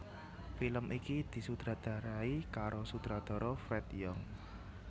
Film iki disutradarai karo sutradara Fred Young